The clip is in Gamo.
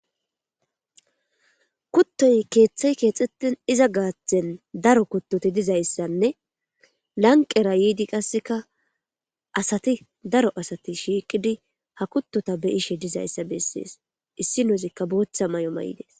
kuttoy keeththay keexxetten iza gaaththen daro kuttoti dizayssanne lanqera yiidi qasseka asati daro asati shiiqidi ha kuttota beyishe dizayssa bessees issi nozikka booththa may7o ma7idees